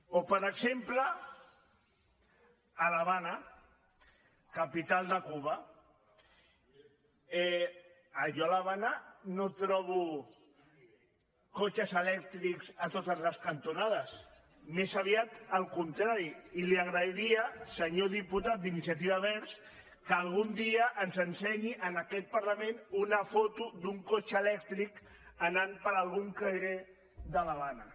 o per exemple a l’ha·vana capital de cuba jo a l’havana no trobo cotxes elèctrics a totes les cantonades més aviat el contrari i li agrairia senyor diputat d’iniciativa verds que al·gun dia ens ensenyi en aquest parlament una foto d’un cotxe elèctric anant per algun carrer de l’havana